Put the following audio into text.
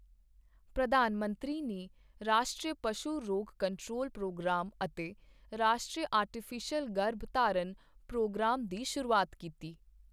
ਪ੍ਰਧਾਨ ਮੰਤਰੀ ਨੇ ਰਾਸ਼ਟਰੀ ਪਸ਼ੂ ਰੋਗ ਕੰਟਰੋਲ ਪ੍ਰੋਗਰਾਮ ਅਤੇ ਰਾਸ਼ਟਰੀ ਆਰਟੀਫੀਸ਼ਲ ਗਰਭਧਾਰਨ ਪ੍ਰੋਗਰਾਮ ਦੀ ਸ਼ੁਰੂਆਤ ਕੀਤੀ